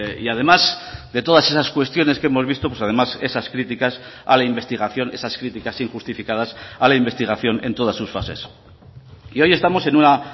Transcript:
y además de todas esas cuestiones que hemos visto además esas críticas a la investigación esas críticas injustificadas a la investigación en todas sus fases y hoy estamos en una